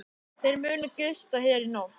Þeir munu gista hér í nótt.